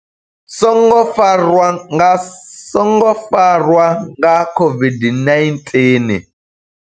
songo farwa nga, songo farwa nga COVID-19.